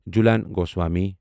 Jhulan Goswami